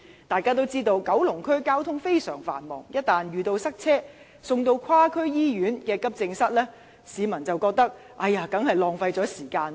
大家也知道，九龍區的交通非常繁忙，一旦遇到塞車，市民被送至跨區醫院的急症室，一定會認為是浪費時間。